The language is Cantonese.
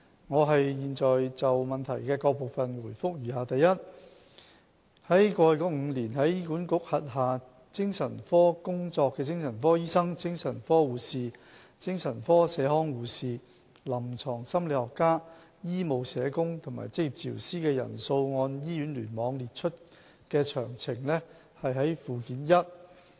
我現就質詢的各部分答覆如下：一過去5年在醫管局轄下精神科工作的精神科醫生、精神科護士、精神科社康護士、臨床心理學家、醫務社工和職業治療師的人數按醫院聯網列出的詳情見附件一。